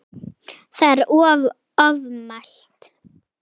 Það er ofmælt.